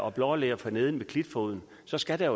er blåler forneden ved klitfoden så skal der